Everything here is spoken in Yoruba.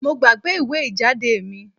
Mo gbàgbé ìwé ìjáde mi